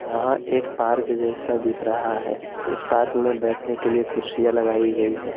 यहां एक पार्क जैसा दिख रहा है इस पार्क में बैठने के लिए कुर्सियां लगाई गई है।